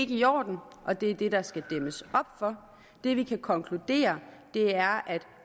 i orden og det er det der skal dæmmes op for det vi kan konkludere er at